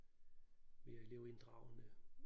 Vi er elevinddragende